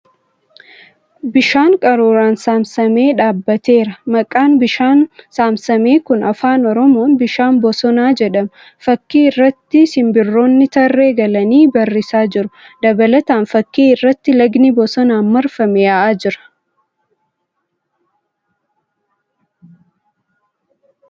Bishaan qaruuraan saamsamee dhaabbateera. Maqaan bishaan saamsamee kun Afaan Oromoon 'Bishaan Bosonaa ' jedhama .Fakkii irratti simbirroonni tarree galanii barrisaa jiru . Dabalataan, fakkii irratti lagni bosonaan marfamee yaa'aa jira .